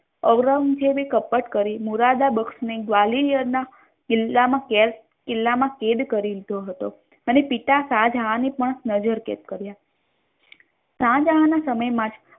ઔરંગઝેબ એ કપટ કરી મુરદાબક્ષ ને ગ્વાલિયર ના કિલ્લા મા કેદ કિલ્લા માં કૈદ કરી લીધો હતો અને પિતા શાહજહાન ને પણ નઝરકૈદ કર્યા શાહજહાન ના સમય મા જ